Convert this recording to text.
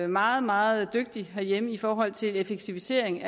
meget meget dygtig herhjemme i forhold til effektivisering